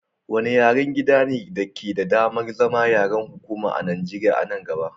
Wanne yaren gidan ne ke da damar zama yaren hukuma a Nijeriya a nan gaba?